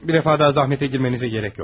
Bir dəfə də zəhmətə girməyinizə ehtiyac yoxdur.